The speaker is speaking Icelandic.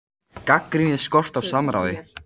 Gagnrýnir skort á samráði